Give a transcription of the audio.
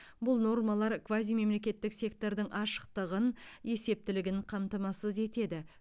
бұл нормалар квазимемлекеттік сектордың ашықтығын есептілігін қамтамасыз етеді